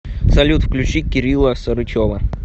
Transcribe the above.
салют включи кирилла сарычева